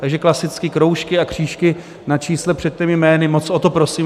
Takže klasicky kroužky a křížky na čísle před těmi jmény, moc o to prosím.